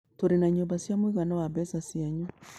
Tũrĩ na nyũmba cia mũigana wa mbeca cianyu.